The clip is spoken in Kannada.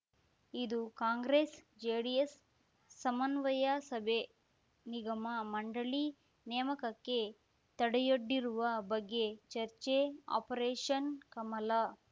ಇದು ಕಾಂಗ್ರೆಸ್‌ ಜೆಡಿಎಸ್‌ ಸಮನ್ವಯ ಸಭೆ ನಿಗಮ ಮಂಡಳಿ ನೇಮಕಕ್ಕೆ ತಡೆಯೊಡ್ಡಿರುವ ಬಗ್ಗೆ ಚರ್ಚೆ ಆಪರೇಷನ್‌ ಕಮಲ